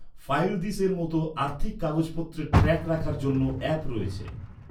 ফাইলদিসের মতো আর্থিক কাগজপত্রের ট্র্যাক রাখার জন্যও অ্যাপ রয়েছে।